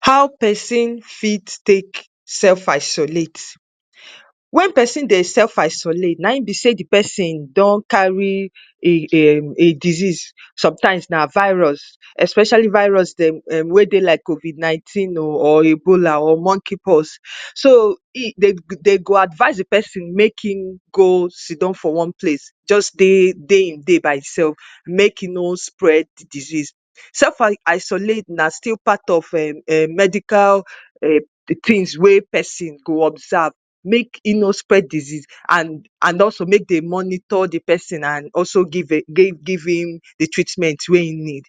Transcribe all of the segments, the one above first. How pesin fit take self-isolate? when pesin dey self-isolate, na im be sey the pesin don carry e e um a disease. Sometimes na virus, especially virus dem wey dey lioke COVID-nineteen oh or Ebola or Monkey-pox. So, e dey dey go advise the pesin make im go sit down for one place. Just dey dey im dey by himself, make im nor spread disease. Self-isolate na still part of um medical um[ things wey pesin go observe, make e no spread disease and and also make they monitor the pesin and also give um give im the treatment wey im need.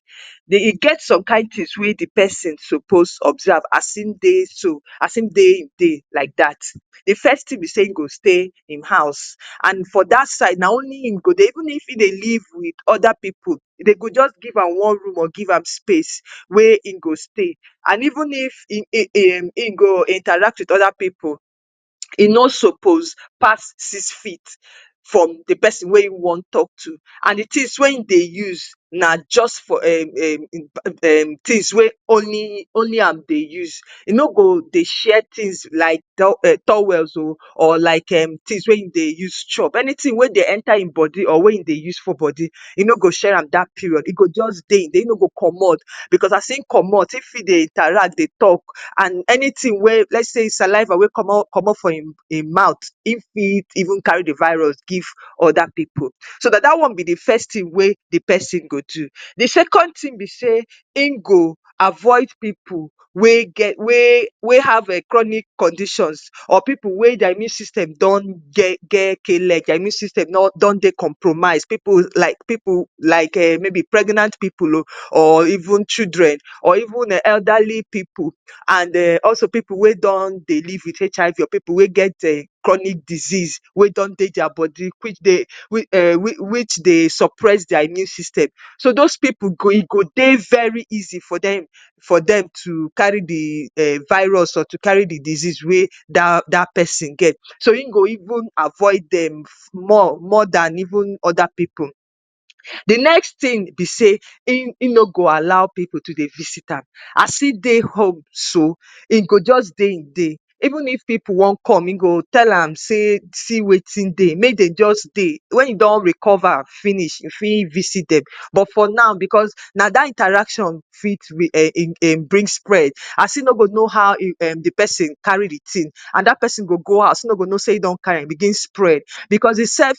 Den, e get some kind things wey the pesin suppose observe as im dey so. As im dey im dey like dat. The first thing be sey, im go stay im house. And for dat side, na only im go dey. Even if im dey live with other pipu, they go just give am one room or give am space wey im go stay. And even if e e um im go interact with other pipu, e no suppose pass six feet from the pesin wey im wan talk to. And the things wey im dey use na just for um um e um things wey only only am dey use. E no go dey share things like towels oh or like um things wey e dey use chop. Anything wey dey enter im body or wey im dey use for body, e no go share am dat period. e go just dey e dey. E no go comot because as im comot, im fit dey interact, dey talk and anything wey let say saliva wey comot comot for im im mouth, im fit even carry the virus give other pipu. So, na dat one be first thing wey the pesin go do. The second thing be sey, im go avoid pipu wey get wey wey have chronic conditions or pipu wey their immune system don get get k-leg. Their immune system nor don dey compromise. Pipu like pipu like um maybe pregnant pipu oh or even children or even um elderly pipu and um also pipu wey don dey live with HIV or pipu wey get um chronic disease wey don dey their body. Which dey which um which which dey suppress their immune system. So, those pipu go e go dey very easy for dem for dem to carry the um virus or to carry the disease wey dat dat pesin get. So, e go even avoid dem small more dan even other pipu. The next thing be sey, im im no go allow pipu to dey visit am. As im dey home so, im go dey just dey im dey. Even if pipu wan come, e go tell am say, see wetin dey. Make they just dey. When e don recover finish, e fit visit dem. But for now, because na dat interaction fit um bring spread. As e no go know how e um the pesin carry the thing. And dat pesin go go house, e no go know sey e don carry, begin spread because himself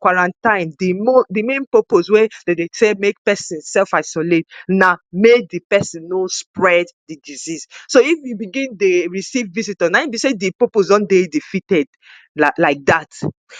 quarantine the the main purpose wey de dey tell make pesin self-isolate na make the pesin no spread the disease. So, if you begin dey receive visitor, na im be sey the purpose don dey defeated like like dat.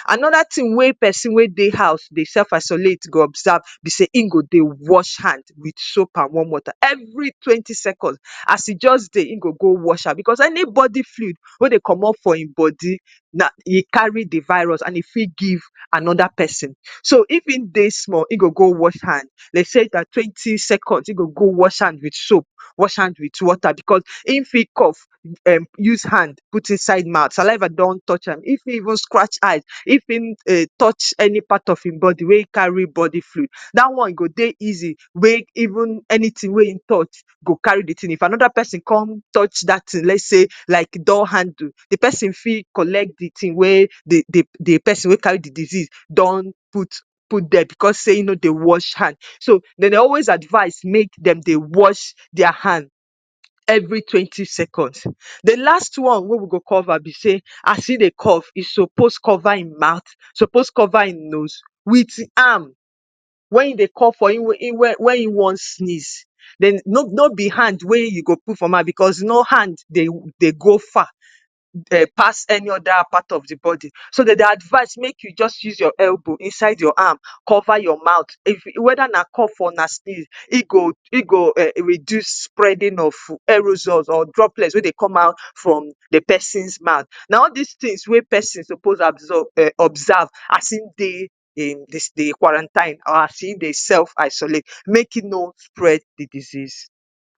Another thing wey pesin wey dey house dey self-isolate go observe be sey, im go dey wash hand with soap and warm water every twenty seconds. As e just dey, im go go wash hand because anybody fluid wey dey comot for im body na e carry the virus and e fit give another pesin. So, if im dey small, im go go wash hand. De say like twenty seconds, im go go wash hand with soap, wash hand with water because im fit cough um use hand put inside mouth. Saliver don touch am, e fit even scratch eye. If im um touch any part of im body wey carry body fluid, dat one go dey easy make even anything wey im touch go carry the thing. If another pesin con touch dat thing, let say like door handle, the pesin fit collect the thing wey they they the pesin wey carry the disease don put put dere because sey im no dey wash hand. So, de dey always advise make dem dey wash their hand. every twenty seconds. The last one wey we go cover be sey, as e dey cough, e suppose cover im mouth, suppose cover im nose with arm. When e dey cough for e when im wan sneeze, den no no be hand wey you go put for mouth because no hand dey dey go far um pass any other part of the body. So, de dey advise make you just use your elbow inside your arm cover your mouth if whether na cough or na sneeze. E go e go um reduce spreading of or droplet wey dey come out from the pesins mouth. Na all dis things wey pesin suppose absorb um observe as im dey dey the the quarantine or as im dey self-isolate make im no spread the disease.